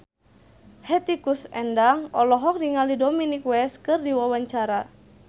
Hetty Koes Endang olohok ningali Dominic West keur diwawancara